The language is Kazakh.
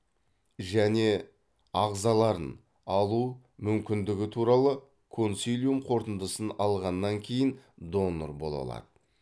және ағзаларын алу мүмкіндігі туралы консилиум қорытындысын алғаннан кейін донор бола алады